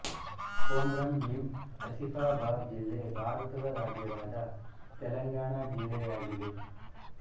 ಕೊಮ್ರಂ ಭೀಮ್ ಅಸಿಫಾಬಾದ್ ಜಿಲ್ಲೆ ಭಾರತದ ರಾಜ್ಯವಾದ ತೆಲಂಗಾಣ ಜಿಲ್ಲೆಯಾಗಿದೆ